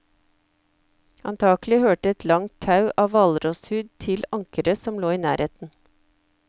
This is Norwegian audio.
Antakelig hørte et langt tau av hvalrosshud til ankeret som lå i nærheten.